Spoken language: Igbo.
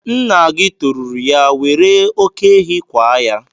Nna gị toruru ya, were oké ehi kwaa ya!